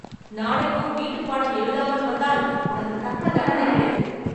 நாளைக்கும் வீட்டுப்பாடம் எழுதாமல் வந்தால் உனக்கு தக்க தண்டனை கிடைக்கும்.